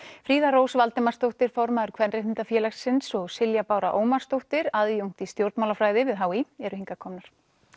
Fríða Rós Valdimarsdóttir formaður Kvenréttindafélagsins og Silja Bára Ómarsdóttir aðjúnkt í stjórnmálafræði við h í eru hingað komnar